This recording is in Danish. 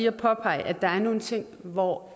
at påpege at der er nogle steder hvor